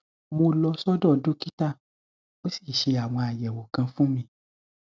mo lọ sọdọ dókítà ó sì ṣe àwọn àyẹwò kan fún mi